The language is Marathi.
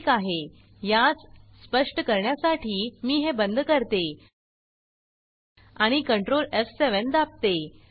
ठीक आहे यास सप्ष्ट करण्यासाठी मी हे बंद करते आणि कंट्रोल एफ7 दाबते